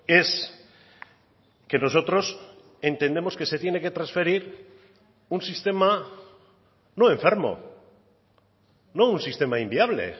es que nosotros entendemos que se tiene que transferir un sistema no enfermo no un sistema inviable